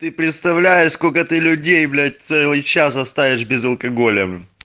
ты представляешь сколько ты людей блять целый час оставишь без алкоголя